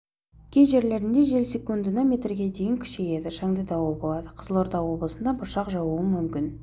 кей жерлерінде жел секундына метрге дейін күшейеді шаңды дауыл болады қызылорда облысында бұршақ жаууы мүмкін